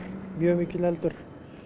mjög mikill eldur